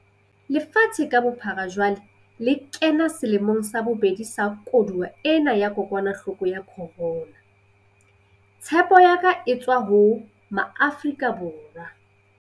Lefatshe ka bophara jwale le kena selemong sa bobedi sa koduwa ena ya kokwanahloko ya corona. Tshepo ya ka e tswa ho Maafrika Borwa.